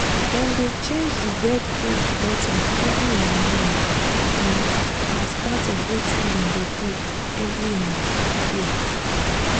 dem dey change the bird cage bottom every um morning um as part of wetin dem dey do every um day